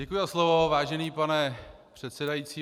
Děkuji za slovo, vážený pane předsedající.